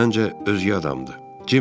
Məncə, özgə adamdır.